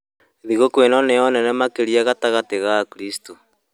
Thigũkũ ĩno nĩyo nene makĩria gatagatĩ ka akristo